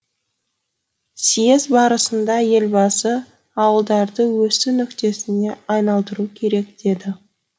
съез барысында елбасы ауылдарды өсу нүктесіне айналдыру керек деді